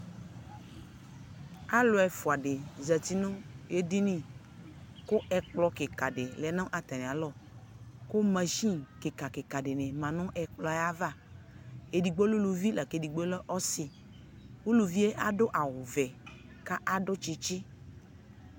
Alʋ ɛfʋa dɩ zati nʋ edini ,kʋ ɛkplɔ kikadɩ lɛ nʋ atamɩalɔ kʋ masini kɩkakɩka dɩnɩ ma nʋ ɛkplɔɛ ava Edigbo lɛ uluvi k'edigbo lɛ ɔsɩ Uluvie adʋ awʋvɛ ka akɔ tsitsi